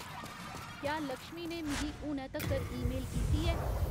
क्या लक्ष्मी ने मिगी हुनै तक्कर ईमेल कीती ऐ